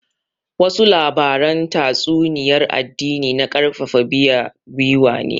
Wasu labaran tatsuniyar addini na karfafa biya gwiwa ne